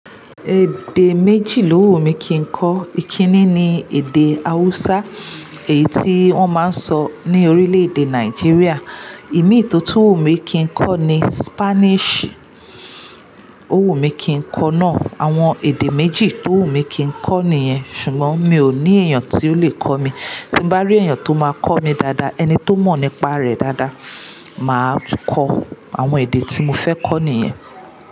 Èdè méjì lówù mí kí n kọ. Ìkíní ni èdè Hausa, èyí tí wọ́n máa ń sọ ní orílẹ̀-èdè Nàìjíríà. Ìmì ro tún wu mí kí n kọ ni Spanish. Ó wù mí kí n kọ náà. Àwọn èdè méjì tó wù mí kí ń kọ nìyẹn. Ṣùgbọ́n mi ò ní èèyàn tí ó lè kọ mí. Tí bá rí èèyàn tó máa kọ́ mi dáadáa, ẹni tó mọ̀ nípa rẹ̀ dáadáa, màá kọ àwọn èdè tí mo fẹ́ kọ nìyẹn.